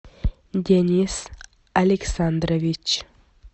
денис александрович